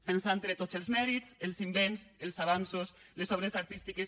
ens han tret tots els mèrits els invents els avanços les obres artístiques